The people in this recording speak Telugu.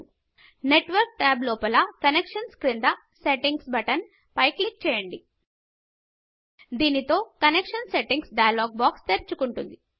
Networkనెట్వర్క్ ట్యాబు లోపల కాంనేక్షన్స్ క్రింద సెట్టింగ్స్ బటన్ పై క్లిక్ చేయండి దీనితో కనెక్షన్ సెట్టింగ్స్ డైలాగ్ బాక్స్ తెరుచకుంటుంది